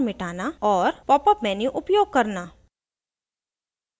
* popupmenu उपयोग करना